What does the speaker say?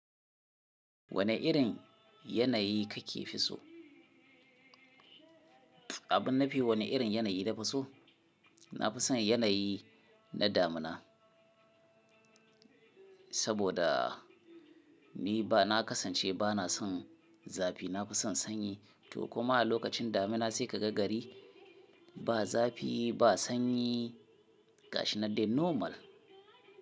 Wane irin yanayi kake fi so? Abin nafi wane irin yanayi na fi so? Na fi son yanayi na damina. Saboda ni ba na kasance ba na son zafi. Na fi son sanyi to kuma a lokacin damina sai ka ga gari, ba zafi ba sanyi kashi nan dai normal.